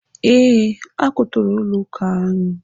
Ee, ha kwụtọrọ ụlọ akụ anyị.